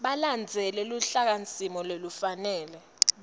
balandzele luhlakasimo lolufanele